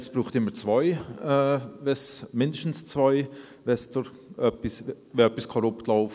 Es braucht immer zwei, mindestens zwei, wenn etwas in einem solchen Fall korrupt läuft.